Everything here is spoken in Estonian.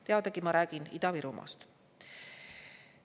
Teadagi, ma räägin Ida-Virumaast.